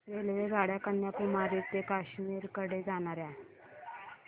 रेल्वेगाड्या कन्याकुमारी ते काश्मीर कडे जाणाऱ्या